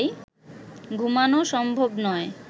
ঘুমানো সম্ভব নয়